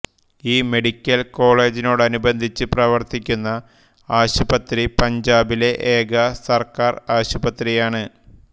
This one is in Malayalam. ഈ മെഡിക്കൽ കോളേജിനോടനുബന്ധിച്ച് പ്രവർത്തിക്കുന്ന ആശുപത്രി പഞ്ചാബിലെ ഏക സർക്കാർ ആശുപത്രിയാണ്